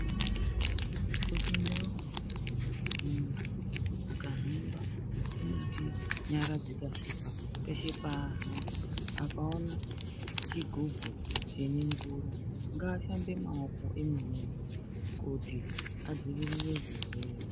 Mundau dzeshe munhu akafamba akaona chigubhu ngaashambe maoko are kuti adziirire chirwere.